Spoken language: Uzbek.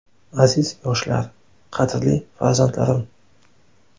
Aziz yoshlar, qadrli farzandlarim!